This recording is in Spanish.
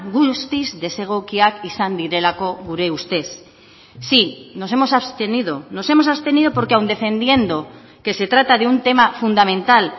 guztiz desegokiak izan direlako gure ustez sí nos hemos abstenido nos hemos abstenido porque aun defendiendo que se trata de un tema fundamental